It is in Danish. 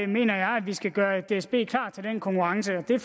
mener jeg at vi skal gøre dsb klar til den konkurrence og det